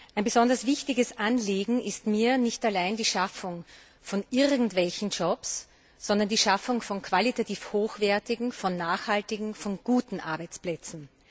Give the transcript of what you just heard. Ein besonders wichtiges Anliegen ist mir nicht allein die Schaffung von irgendwelchen Jobs, sondern die Schaffung von qualitativ hochwertigen, von nachhaltigen, von guten Arbeitsplätzen.